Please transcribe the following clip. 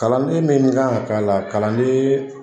Kalanden min kan ka k'a la kalanden